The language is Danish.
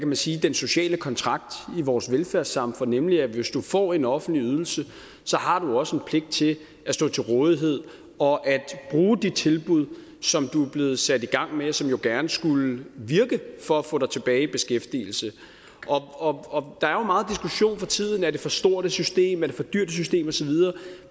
man sige den sociale kontrakt i vores velfærdssamfund nemlig at hvis du får en offentlig ydelse har du også en pligt til at stå til rådighed og at bruge de tilbud som du er blevet sat i gang med og som jo gerne skulle virke for at få dig tilbage i beskæftigelse der er jo meget diskussion for tiden er det for stort et system er det for dyrt et system og så videre